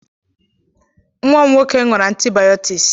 Nwa m nwoke ṅụrụ antibayọtiks.